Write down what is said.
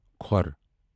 کھوٛر